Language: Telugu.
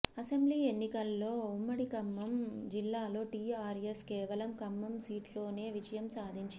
అసెంబ్లీ ఎన్నికల్లో ఉమ్మడి ఖమ్మం జిల్లాలో టీఆర్ఎస్ కేవలం ఖమ్మం సీట్లోనే విజయం సాధించింది